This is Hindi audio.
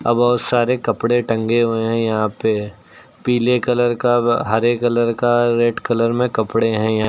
बहोत सारे कपड़े टंगे हुए हैं यहां पे पीले कलर का हरे कलर का रेड कलर में कपड़े हैं यहां--